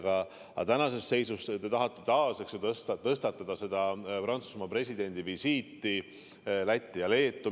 Aga tänases seisus te tahate taas, eks ju, tõstatada Prantsusmaa presidendi visiidi Lätti ja Leetu.